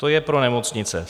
To je pro nemocnice.